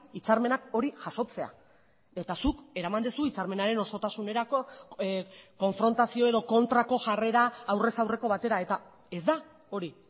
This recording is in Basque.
hitzarmenak hori jasotzea eta zuk eraman duzu hitzarmenaren osotasunerako konfrontazio edo kontrako jarrera aurrez aurreko batera eta ez da hori